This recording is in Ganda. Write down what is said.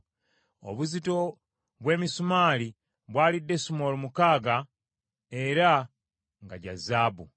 Obuzito bw’emisumaali bwali desimoolo mukaaga era nga gya zaabu.